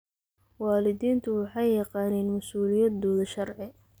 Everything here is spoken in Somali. Waalidiintu waxay yaqaaniin mas'uuliyadooda sharci.